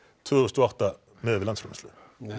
tvö þúsund og átta miðað við landsframleiðslu